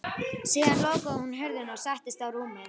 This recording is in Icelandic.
Síðan lokaði hún hurðinni og settist á rúmið.